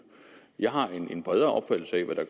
jeg har en bredere opfattelse af hvad der